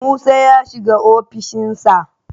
Musa ya shiga ofishin sa